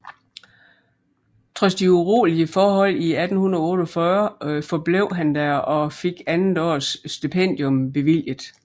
Trods de urolige forhold i 1848 forblev han der og fik andet års stipendium bevilget